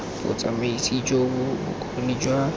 botsamaisi jo bo bokgoni jwa